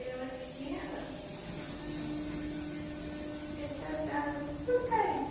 Eu era pequena, era tratada com todo carinho.